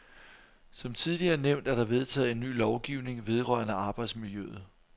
Som tidligere nævnt er der vedtaget en ny lovgivning vedrørende arbejdsmiljøet.